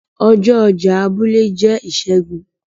ọjọ ọjà abúlé jẹ Ọjọ́ Ìsẹ́gun.